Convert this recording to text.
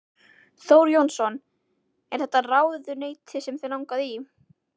Þór Jónsson: Er þetta ráðuneyti sem þig langaði í?